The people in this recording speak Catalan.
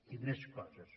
i més coses